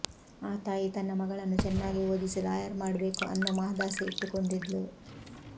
ಆ ತಾಯಿ ತನ್ನ ಮಗಳನ್ನ ಚೆನ್ನಾಗಿ ಓದಿಸಿ ಲಾಯರ್ ಮಾಡ್ಬೇಕು ಅನ್ನೋ ಮಹದಾಸೆ ಇಟ್ಕೊಂಡಿದ್ಲು